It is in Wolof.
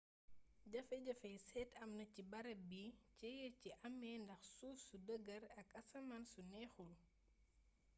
jafe-jafey seet amna ci barab bi jéeya ji amee ndax suuf su dêgër ak asmaan su neexul